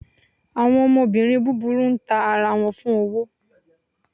Awọn ọmọbirín búbúrú n tá ará wọn fún owó